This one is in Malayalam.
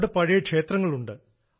അവിടെ പഴയ ക്ഷേത്രങ്ങൾ ഉണ്ട്